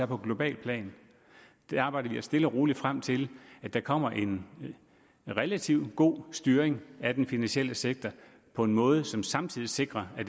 på globalt plan vi arbejder os stille og roligt frem til at der kommer en relativt god styring af den finansielle sektor på en måde som samtidig sikrer at